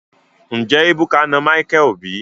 Nje ebuka na Micheal bi?